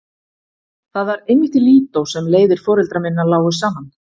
Það var einmitt í Lídó sem leiðir foreldra minna lágu saman.